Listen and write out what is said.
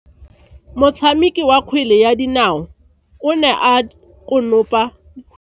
Motshameki wa kgwele ya dinao o ne a konopa kgwele.